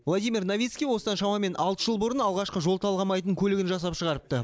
владимир новицкий осыдан шамамен алты жыл бұрын алғашқы жол талғамайтын көлігін жасап шығарыпты